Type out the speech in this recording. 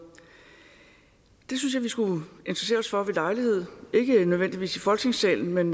det synes jeg vi skulle interessere os for ved lejlighed ikke nødvendigvis i folketingssalen men